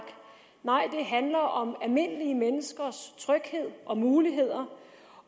nej handler om almindelige menneskers tryghed og muligheder